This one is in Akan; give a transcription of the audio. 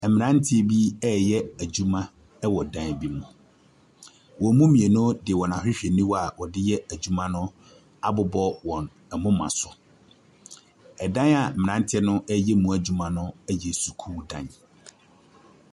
Mmeranteɛ bi reyɛ adwuma wɔ dan bi mu. Wɔn mu mmeinu de wɔn ahwehwɛniwa a wɔde yɛ adwuma no abobɔ wɔn moma so. Ɛdan a mmeranteɛ no reyɛ mu adwuma no yɛ sukuu dan.